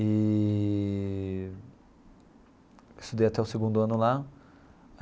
Eee estudei até o segundo ano lá.